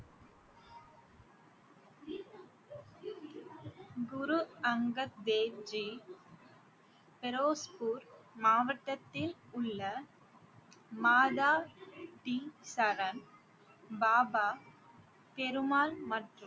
குரு அங்கத் தேவ்ஜீ பெரோஸ்பூர் மாவட்டத்தில் உள்ள மாதா சரண், பாபா ஃபெரு மால் மற்றும்